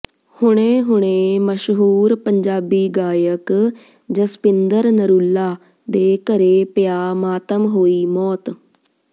ਹੁਣੇ ਹੁਣੇ ਮਸ਼ਹੂਰ ਪੰਜਾਬੀ ਗਾਇਕ ਜਸਪਿੰਦਰ ਨਰੂਲਾ ਦੇ ਘਰੇ ਪਿਆ ਮਾਤਮ ਹੋਈ ਮੌਤ